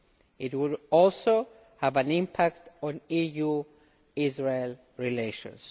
it would also have an impact on EU Israel relations.